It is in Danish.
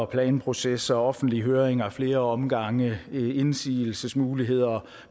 planprocesser offentlige høringer ad flere omgange indsigelsesmuligheder